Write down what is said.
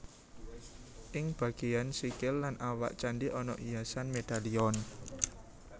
Ing bagéyan sikil lan awak candhi ana hiasan medalion